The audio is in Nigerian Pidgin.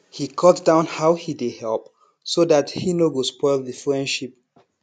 he cut down how he dey help so that he no go spoil the friendship